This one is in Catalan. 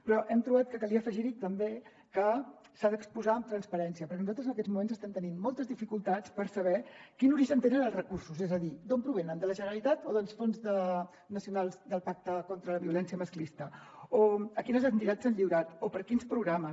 però hem trobat que calia afegir hi també que s’ha d’exposar amb transparència perquè nosaltres en aquests moments estem tenint moltes dificultats per saber quin origen tenen els recursos és a dir d’on provenen de la generalitat o dels fons nacionals del pacte contra la violència masclista o a quines entitats s’han lliurat o per a quins programes